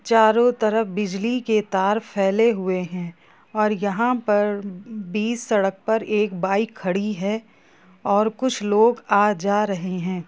चारों तरफ बिजली के तार फैले हुए हैं और यहां पर बीच सड़क पर एक बाइक खड़ी हैं और कुछ लोग आ जा रहे हैं।